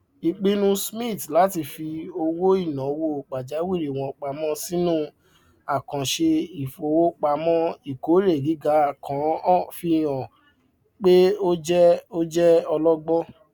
ipinnu smiths láti fi owóìnàwó pàjáwìrì wọn pamọ sínú àkàǹṣe ìfowopamọ ìkórè gíga kan fi hàn pé ó jẹ ó jẹ ọlọgbọn